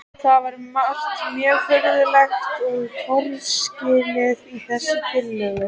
Það er margt mjög furðulegt og torskilið í þessari tillögu.